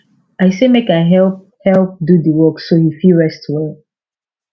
i say make i help help do the work so he fit rest well